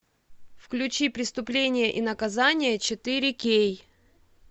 включи преступление и наказание четыре кей